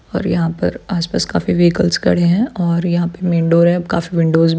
और यहाँ पर आस-पास काफी व्हीकल्स खड़े है और यहाँ पे मैन डोर है काफी विंडोज़ --